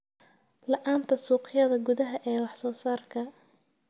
La'aanta suuqyada gudaha ee wax soo saarka.